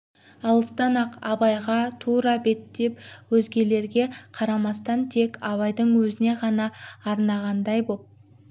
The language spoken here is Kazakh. алыстан-ақ абайға тура беттеп өзгелерге қарамастан тек абайдың өзіне ғана арнағандай боп